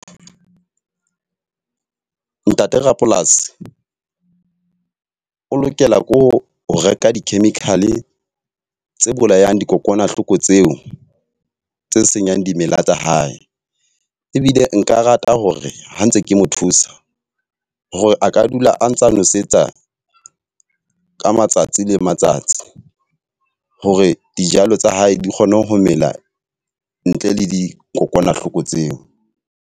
Ntate rapolasi o lokela ko ho reka di-chemical tse bolayang dikokwanahloko tseo tse senyang dimela tsa hae. Ebile nka rata hore ha ntse ke mo thusa, hore aka dula a ntsa nosetsa ka matsatsi le matsatsi. Hore dijalo tsa hae di kgone ho mela ntle le dikokwanahloko tseo.